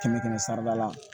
Kɛmɛ kɛmɛ sarada la